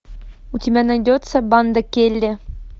у тебя найдется банда келли